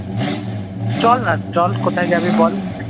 চল না চল কোথায় যাবি বল?